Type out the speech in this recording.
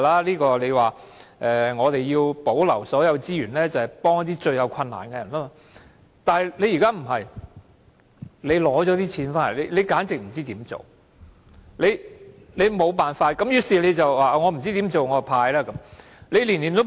政府說要保留所有資源來幫助最有困難的人，但現在政府卻不是這樣做，在取得金錢後根本不知道應該怎樣做。